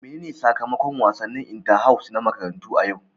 Menene sakamakon wasannin inter house na makaranta a yau?